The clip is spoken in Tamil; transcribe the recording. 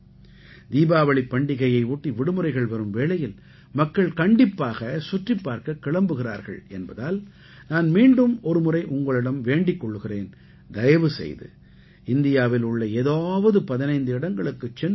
தீபாவளிப் பண்டிகையை ஒட்டி விடுமுறைகள் வரும் வேளையில் மக்கள் கண்டிப்பாக சுற்றிப் பார்க்க கிளம்புகிறார்கள் என்பதால் நான் மீண்டும் ஒருமுறை உங்களிடம் வேண்டிக் கொள்கிறேன் தயவு செய்து இந்தியாவில் உள்ள ஏதாவது 15 இடங்களுக்குச் சென்று பாருங்கள்